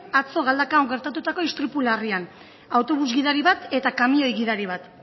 atzo galdakaon gertatutako istripu larrian autobus gidari bat eta kamioi gidari bat